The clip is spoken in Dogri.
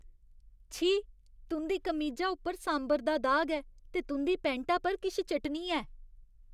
छी, तुं'दी कमीजा उप्पर सांभर दा दाग ऐ ते तुं'दी पैंटा पर किश चटनी ऐ।